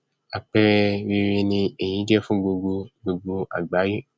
àpẹrẹ rere ni èyí jẹ fún gbogbo gbogbo àgbáyé